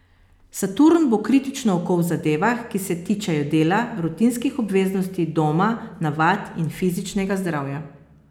Saturn bo kritično oko v zadevah, ki se tičejo dela, rutinskih obveznosti, doma, navad in fizičnega zdravja.